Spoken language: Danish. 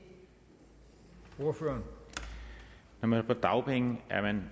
for når man er på dagpenge